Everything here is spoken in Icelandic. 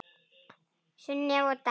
Sunneva og Dagur.